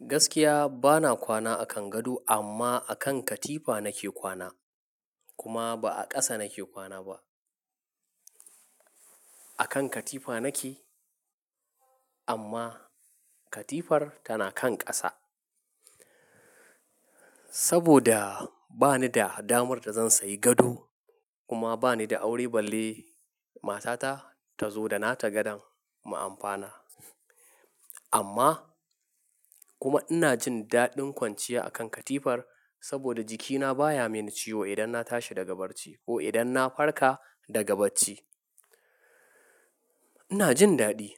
Gaskiya bana kwana a kan gado amma a kan katifa nake kwana. Kuma ba a ƙasa nake kwana ba. A kan katifa nake amma katifar tana kan ƙasa. Saboda bani da damar da zan sayi gado kuma bani da aure balle matata tazo da nata gadon mu amfana. Amma kuma ina jin daɗin kwanciya a kan katifar saboda jikina baya min ciwo idan na tashi daga bacci ko idan na farka daga bacci. Ina jin daɗi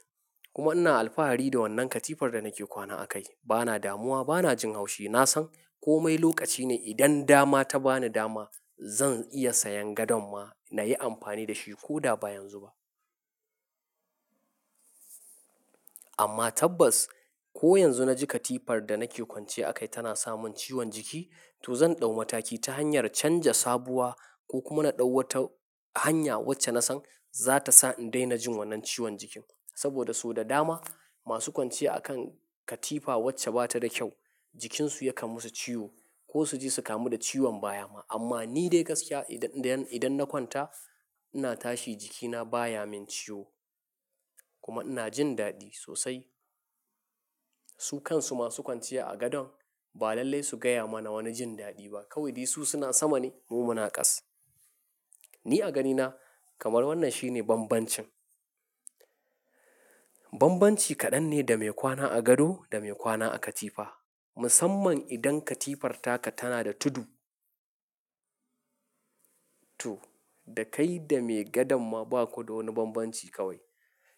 kuma ina alfahari da wannan katifar da nake kwana akai. Bana damuwa, bana jin haushi. Na san komai lokaci ne idan dama ta bani dama zan iya sayan gadon ma na yi amfani da shi ko da ba yanzu ba. Amma tabbas ko yanzu na ji katifar da nake kwanciya akai tana samin ciwon jiki, to zan ɗau mataki ta hanyar canja sabuwa ko kuma na ɗau wata hanya wacce na san zata sa in daina jin wannan ciwon jikin. Saboda so da dama masu kwanciya a kan katifa wacce ba ta da kyau, jikinsu ya kamasu ciwo ko su je su kamu da ciwon baya ma. Amma ni dai gaskiya idan, idan na kwanta ina tashi jikina baya min ciwo kuma ina jin daɗi sosai. Su kansu masu kwanciya a gadon ba lallai su gaya mana wani jin daɗi ba. Kawai dai su suna sama ne mu muna ƙasa. Ni a ganina kamar wannan shine bambancin. Bambanci kaɗan ne da mai kwana a gado da mai kwana a katifa. Musamman idan katifarka tana da tudu. To, da kai da mai gadon ma ba ku da wani bambanci kawai.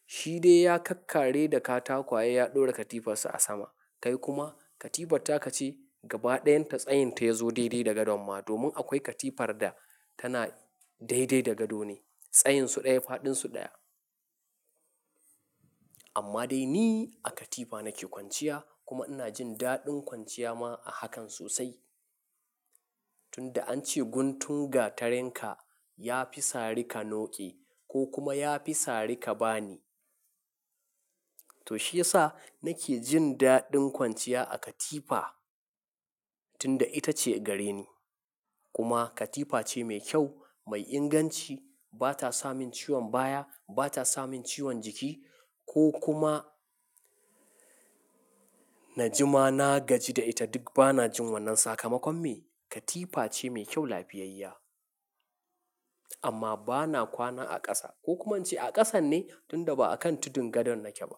Shi dai ya kak kare da katakwaye ya ɗora katifarsa a sama. Kai kuma katifarka ce gaba ɗayanta tsayinta ya zo daidai da gadon ma. Domin akwai katifar da tana daidai da gado ne. Tsayinsu ɗaya, faɗinsu ɗaya. Amma dai ni a katifa nake kwanciya kuma ina jin daɗin kwanciya ma a hakan sosai. Tunda an ce guntun gatarinka ya fi sari ka noƙe ko kuma ya fi sari ka bani. To shi yasa nake jin daɗin kwanciya a katifa tunda ita ce gare ni. Kuma katifa ce mai kyau, mai inganci, ba ta sa min ciwon baya, ba ta sa min ciwon jiki ko kuma na jima na gaji da ita duk bana jin wannan sakamakon me. Katifa ce mai kyau, lafiyayya. Amma bana kwana a ƙasa ko kuma an ce a ƙasan ne tunda ba a kan tudun gadon nake ba.